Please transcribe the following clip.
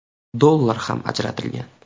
dollar ham ajratilgan.